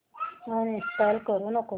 uninstall करू नको